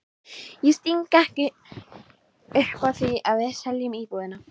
Ég sting ekki upp á því að við seljum íbúðina.